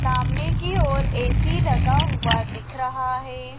सामने की ओर ए_सी लगा हुआ दिख रहा है।